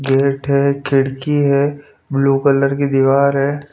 Gate है खिड़की है ब्लू कलर की दीवार है.